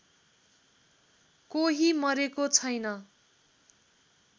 कोही मरेको छैन